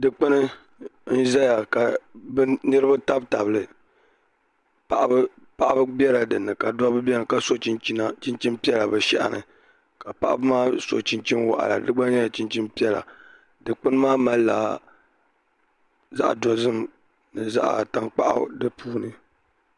dikpuni n ʒɛya ka niraba tabi tabili paɣaba biɛla dinni ka dabba biɛni ka so chinchin piɛla bi shɛhi ni ka paɣaba maa so chinchin waɣala di gba nyɛla chinchin piɛla dikpuni maa malila zaɣ dozim ni zaɣ tankpaɣu di puuni